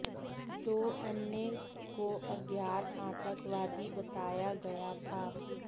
दो अन्य को अज्ञात आतंकवादी बताया गया था